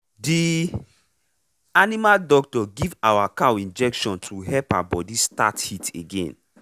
the animal doctor give our cow injection to help her body start heat again.